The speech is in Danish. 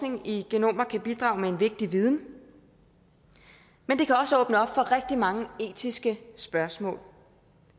i genomer kan bidrage med en vigtig viden men det kan også åbne op for rigtig mange etiske spørgsmål